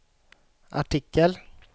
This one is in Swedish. artikel